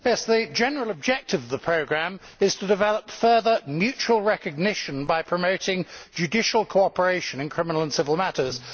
Mr President, the general objective of the programme is to develop further mutual recognition by promoting judicial cooperation in criminal and civil matters.